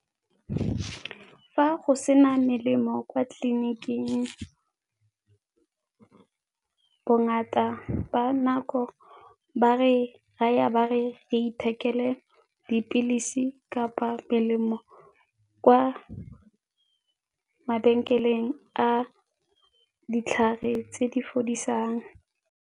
Fa go se na melemo kwa tleliniking bongata ba nako ba re raya ba re reithekele dipilisi kapa melemo kwa mabenkeleng a ditlhare tse di fodisang.